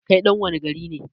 kai ɗan wani gari ne?